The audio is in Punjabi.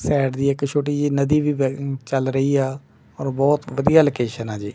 ਸਾਈਡ ਦੀ ਇੱਕ ਛੋਟੀ ਜਿਹੀ ਨਦੀ ਵੀ ਬਹਿ ਚੱਲ ਰਹੀ ਆ ਔਰ ਬਹੁਤ ਵਧੀਆ ਲੋਕੇਸ਼ਨ ਆ ਜੀ।